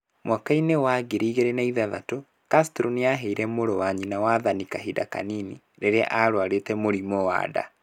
Mwaka-inĩ wa 2006, Castro nĩ aaheire mũrũ wa nyina wathani kahinda kanini .Rĩrĩa aarũarĩte mũrimũ wa nda.